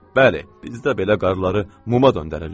Bəli, bizdə belə qarları muma döndərirlər.